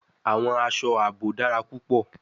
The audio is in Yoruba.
Awọn aṣọ aabo dara pupọ